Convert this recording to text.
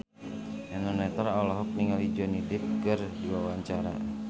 Eno Netral olohok ningali Johnny Depp keur diwawancara